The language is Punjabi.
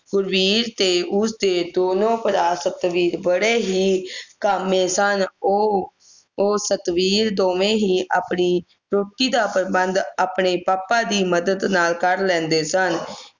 ਗੁਰਬੀਰ ਤੇ ਉਸਦੇ ਦੋਨੋਂ ਭਰਾ ਸੁਤ ਬੀਰ ਬੜੇ ਹੀ ਕਾਮੇਂ ਸਨਉਹ ਉਹ ਸਤਬੀਰ ਦੋਨੋਂ ਹੀ ਰੋਟੀ ਦਾ ਪ੍ਰਬੰਧ ਆਪਣੇ ਪਾਪਾ ਦੀ ਮਦਦ ਨਾਲ ਕਰ ਲੈਂਦੇ ਸਨ